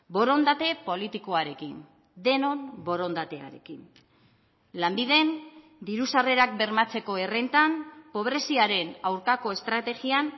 borondate politikoarekin denon borondatearekin lanbiden diru sarrerak bermatzeko errentan pobreziaren aurkako estrategian